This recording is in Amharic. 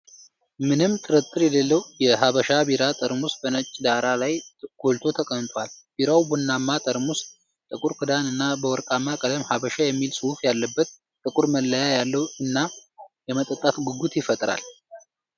ምንም ጥርጥር የሌለው የ"ሀበሻ" ቢራ ጠርሙስ በነጭ ዳራ ላይ ጎልቶ ተቀምጧል። ቢራው ቡናማ ጠርሙስ፣ ጥቁር ክዳን እና በወርቃማ ቀለም ሐበሻ የሚል ጽሑፍ ያለበት ጥቁር መለያ ያለው እና፣ የመጠጣት ጉጉትን ይፈጥራል።